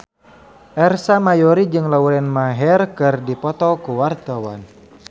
Ersa Mayori jeung Lauren Maher keur dipoto ku wartawan